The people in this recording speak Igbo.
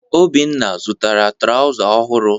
Obinna zụtara trawza ọhụrụ.